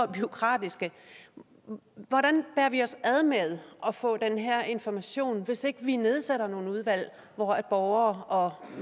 bureaukratiske hvordan bærer vi os ad med at få den her information hvis ikke vi nedsætter nogle udvalg hvor borgere